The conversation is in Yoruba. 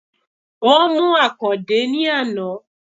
Wón mú Àkàndé ní àná